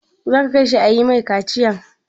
Za ka kai shi a yi mai kaciyan?